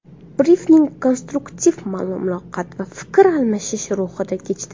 Brifing konstruktiv muloqot va fikr almashish ruhida kechdi.